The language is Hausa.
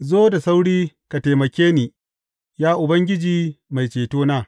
Zo da sauri ka taimake ni, Ya Ubangiji Mai Cetona.